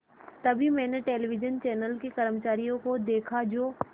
तभी मैंने television channel के कर्मचारियों को देखा जो